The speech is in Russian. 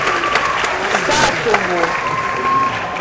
сасово